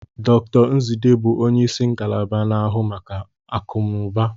Dr Nzidee bụ onye isi ngalaba na-ahụ maka akụnụba.